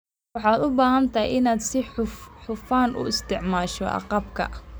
Waxaad u baahan tahay inaad si hufan u isticmaasho agabka.